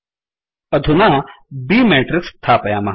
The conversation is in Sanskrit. अधुना b matrixमेट्रिक्स् स्थापयामः